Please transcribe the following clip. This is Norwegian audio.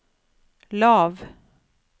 lav